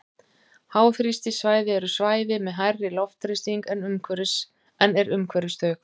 háþrýstisvæði eru svæði með hærri loftþrýsting en er umhverfis þau